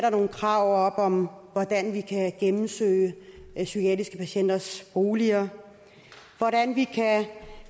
nogle krav om hvordan vi kan gennemsøge psykiatriske patienters boliger hvordan vi kan